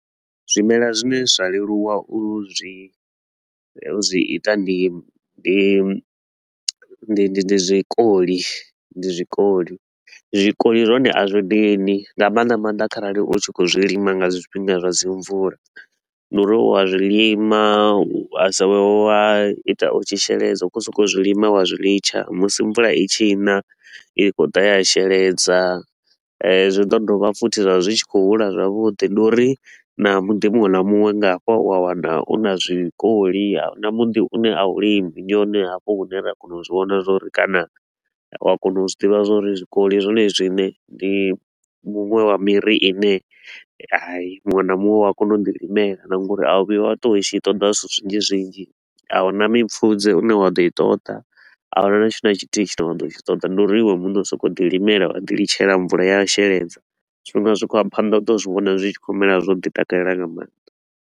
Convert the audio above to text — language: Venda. Zwimelwa zwine zwa leluwa u zwi u zwi ita ndi ndi zwikoloni ndi zwikolo, zwikoli zwone a zwi dini nga maanḓa maanḓa kharali u tshi khou zwi lima nga zwifhinga zwa dzi mvula. Ndi uri u a zwilima u a sa vha wa ita u tshi sheledza u khou so ko u zwilima wa zwi litsha, musi mvula i tshi i na i khou ḓa ya sheledza, zwi ḓo dovha futhi zwa vha zwi tshi khou hula zwavhuḓi. Ndi uri na muḓi muṅwe na muṅwe nga hafha u a wana u na zwikoli, na muḓi u ne a u limi ndi hone hafho hune ri a kona u zwi vhona zwa uri kana u a kona u zwi ḓivha zwa uri zwikoli zwone zwine ndi muṅwe wa miri i ne hai muṅwe na muṅwe u a kona u ḓi limela na nga uri a u vhuyi wa ṱwa u tshi ṱoḓa zwithu zwinzhi zwinzhi. A hu na mipfudze u ne wa ḓo i ṱoḓa, a hu na na tshithu na tshithihi tshine wa ḓo tshi ṱoḓa, ndi uri i we muṋe ndi u so ko u ḓi limela wa ḓi litshela mvula ya sheledza, zwifhinga zwi khou ya phanḓa u ḓo zwi vhona zwi tshi khou mela zwo ḓitakalela nga maanḓa.